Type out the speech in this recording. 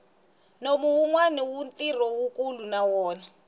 nomu wuni ntirho wukulu na wona